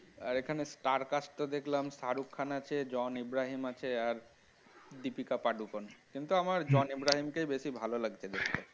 আর এখানে star cast তো দেখলাম শাহরুখ খান আছে জন ইব্রাহিম আছে আর দীপিকা পাডুকোন কিন্তু আমার জন ইব্রাহিম কে বেশি ভালো লাগছে দেখতে